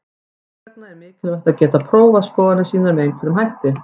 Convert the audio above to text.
Þess vegna er mikilvægt að geta prófað skoðanir sínar með einhverjum hætti.